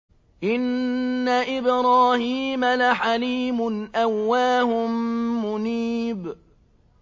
إِنَّ إِبْرَاهِيمَ لَحَلِيمٌ أَوَّاهٌ مُّنِيبٌ